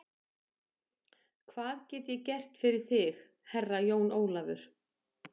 Hvað get ég gert fyrir þig Herra Jón Ólafur?